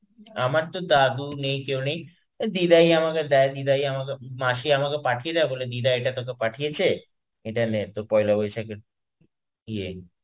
আমারতো দাদু নেই কেউ নেই. দিদাই আমাকে দেয়. দিদাই আমাকে... মাসি পাঠিয়ে দেয়, বলে দিদা এটা তোকে পাঠিয়েছে. এটা নে, তর পয়লা বৈশাখের ইয়ে